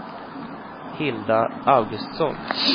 Hilda Augustsson